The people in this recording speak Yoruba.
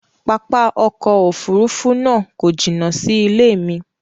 Pápá ọkọ̀ òfurufú náà kọ jina sí ilẹ̀ mi